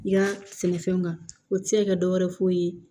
I ka sɛnɛfɛnw kan o tɛ se ka kɛ dɔ wɛrɛ foyi ye